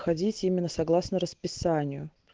ходить именно согласно расписанию